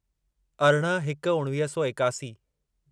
अरिड़हं हिक उणिवीह सौ एकासी